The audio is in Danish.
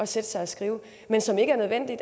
sætte sig og skrive men som ikke er nødvendig